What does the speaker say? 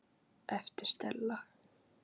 æpti Stella.